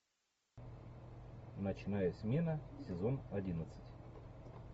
ночная смена сезон одиннадцать